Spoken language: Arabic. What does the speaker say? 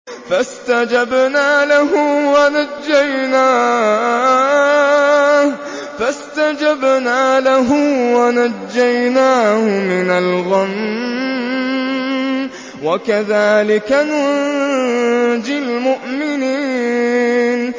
فَاسْتَجَبْنَا لَهُ وَنَجَّيْنَاهُ مِنَ الْغَمِّ ۚ وَكَذَٰلِكَ نُنجِي الْمُؤْمِنِينَ